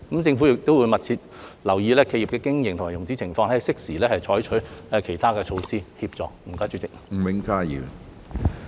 政府會密切留意企業的經營及融資情況，並適時採取其他措施予以協助。